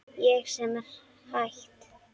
Ég sem var hætt.